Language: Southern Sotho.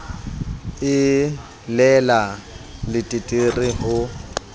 e le la leteterre ho